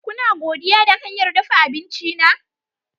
Kuna godiya da hanyar dafa abinci na?